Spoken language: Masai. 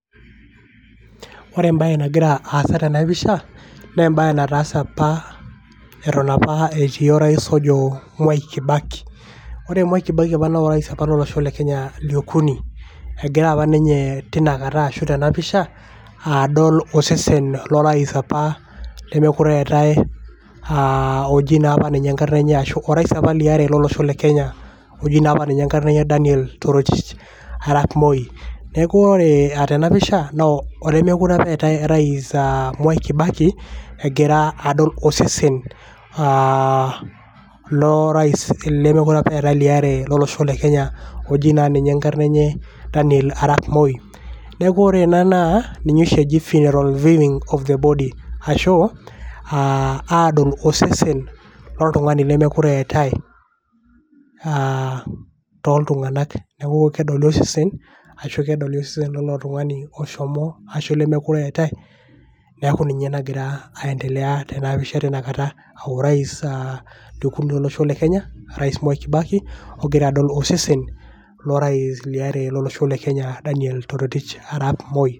Ore ebae nagira aasa tena pisha, na ebae nataase apa eton apa etii o rais ojo Mwai Kibaki. Ore Mwai Kibaki na o rais apa lolosho le Kenya liokuni. Egira apa ninye tinakata ashu tena pisha, adol osesen na lo rais apa lemekure eetae ah oji napa ninye enkarna enye ashu o rais apa liare lolosho le Kenya, oji napa ninye enkarna enye Daniel Torotich Arap Moi. Neeku ore eh tena pisha, na olemekure apa eetae rais ah Mwai Kibaki, egira adol osesen aah lo rais lemekure apa eetae liare lolosho le Kenya, oji na ninye enkarna enye Daniel Arap Moi. Neeku ore ena naa ninye oshi eji funeral viewing of the body. Ashu ah adol osesen loltung'ani lemekure eetae, ah toltung'anak. Neeku kedoli osesen, ashu kedoli osesen lilo tung'ani oshomo ashu lilo lemekure eetae, neeku ninye nagira aiendelea tena pisha tinakata. Ah o rais liokuni lolosho le Kenya, Mwai Kibaki ogira adol osesen lo rais liare lolosho le Kenya, Daniel Torotich Arap Moi.